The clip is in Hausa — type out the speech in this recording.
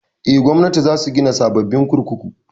Eh, Gwamnatin za su gina sababbin kurkuku